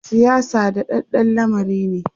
siyasa daɗaɗɗan lamari ne